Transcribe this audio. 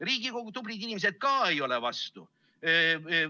Riigikogu tublid inimesed ka ei ole vastu.